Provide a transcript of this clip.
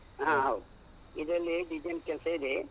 ಹ ಹೌದು, ಇದ್ರಲ್ಲಿ design ಕೆಲ್ಸ ಇದೆ.